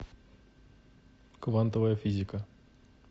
квантовая физика